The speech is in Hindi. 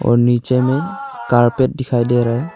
और नीचे में कारपेट दिखाई दे रहा है।